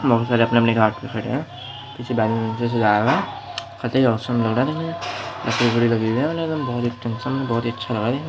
बहुत सारे अपने-अपने घाट पे खड़े हैं बहुत ही अच्छे